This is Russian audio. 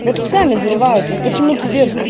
вот сами взрывают вот почему ты